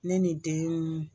Ne ni den